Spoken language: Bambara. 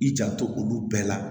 I janto olu bɛɛ la